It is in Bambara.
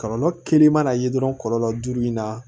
Kɔlɔlɔ kelen mana ye dɔrɔn kɔlɔlɔ duuru in na